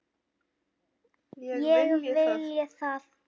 Ég vilji það?